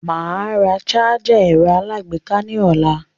Màá ra sájà ẹ̀rọ aláàgbéká ní ọ̀la.